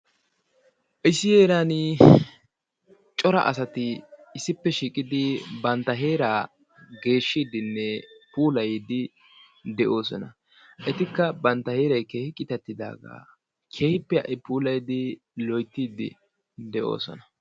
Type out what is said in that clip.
ISSI HEERANI CORA ASATI BANTA HEERANI ISSIPPE SHIIQIDI BANTA HEERAA GEESHIIDINNE PUULAYIIDI DE'OOSOSNA. ETIKKA BANTA HEERAY KEEHI QITATTIDAAGA KEHIPPE HA'I GEESHIIDI DE'OOSONA.